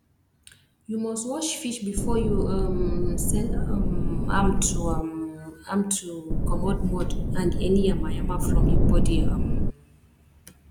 you must wash fish before you um sell um amto um amto commot mud and any yama yama from im body um